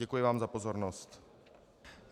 Děkuji vám za pozornost.